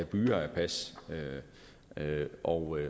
byger af pas og